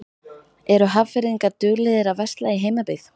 Eru Hafnfirðingar duglegir að versla í heimabyggð?